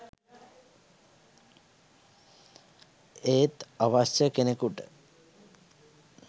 ඒත් අවශ්‍ය කෙනෙකුට